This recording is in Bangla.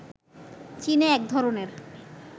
চীনে এক ধরণের